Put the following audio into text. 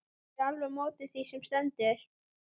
Ég er alveg á móti því sem stendur.